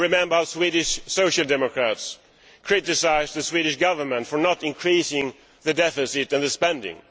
I remember the Swedish Social Democrats criticised the Swedish Government for not increasing the deficit and the spending.